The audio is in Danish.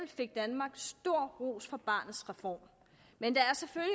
fik danmark stor ros for barnets reform men der